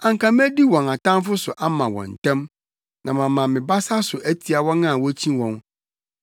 anka medi wɔn atamfo so ama wɔn ntɛm na mama me basa so atia wɔn a wokyi wɔn!